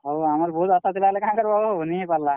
ହଏ ଆମର୍ ବହୁତ୍ ଆଶା ଥିଲା ହେଲେ କାଣା କରବ ହୋ ନି ହେଇ ପାର୍ ଲା।